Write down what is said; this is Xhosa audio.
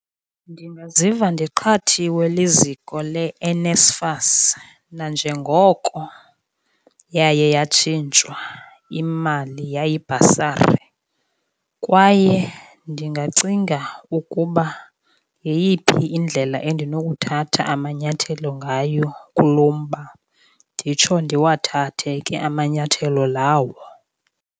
Ndingaziva ndiqhathiwe liziko leNSFAS nanjengoko yaye yatshintshwa imali, yayibhasari. Kwaye ndingacinga ukuba yeyiphi indlela endinokuthatha amanyathelo ngayo kuloo mba, nditsho ndiwathathe ke amanyathelo lawo.